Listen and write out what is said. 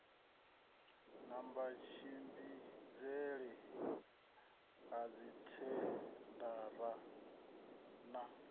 na matshimbidzele a dzithendara na